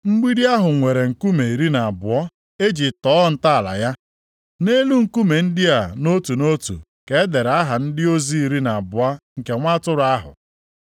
Mgbidi ahụ nwere nkume iri na abụọ e ji tọọ ntọala ya. Nʼelu nkume ndị a nʼotu nʼotu ka e dere aha ndị ozi iri na abụọ nke Nwa Atụrụ ahụ.